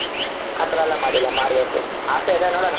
ಆತರ ಎಲ್ಲಾ ಮಾಡಿಲ್ಲ ಮಾಡಬೇಕು ಆಸೆ ಇದೆ ನೋಡೋಣ.